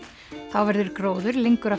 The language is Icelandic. þá verður gróður lengur að